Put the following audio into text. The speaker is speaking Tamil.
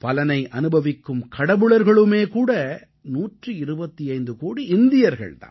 பலனை அனுபவிக்கும் கடவுளர்களுமே கூட 125 கோடி இந்தியர்கள் தாம்